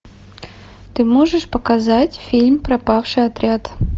ты можешь показать фильм пропавший отряд